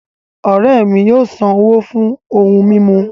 Ọ̀rẹ́ mi yóò ṣán owó fún ohun mimú